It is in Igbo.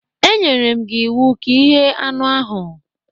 E nyere m gi iwu ka ighe anụ ahụ!